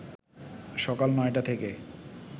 সকাল ৯টা থেকে